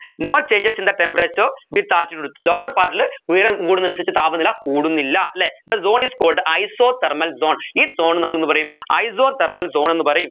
no changes in the temperature with altitude lower part ൽ ഉയരം കൂടുന്നതിനനുസരിച്ച് താപനില കൂടുന്നില്ല അല്ലെ the zone is called isothermal zone ഈ zone നമ്മൾ എന്ത് പറയും isothermal zone എന്ന് പറയും